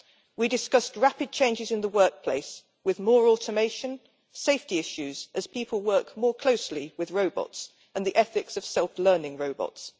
We discussed rapid changes in the workplace with more automation, safety issues as people work more closely with robots, and the ethics of self learning robots.